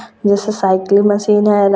जैसे cycle machine है।